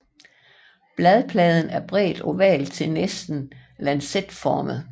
Bladpladen er bredt oval til næsten lancetformet